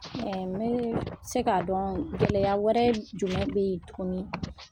se k'a dɔn gɛlɛya wɛrɛ jumɛn bɛ yen tuguni